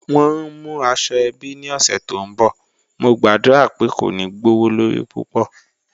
Wọ́n ń mú àṣọ-èbí ní ọṣẹ̀ tó nbọ̀, mò gba'dúra pé kò ní gbọwọ̀lọrí púpọ̀.